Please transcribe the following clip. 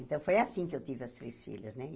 Então, foi assim que eu tive as três filhas, né?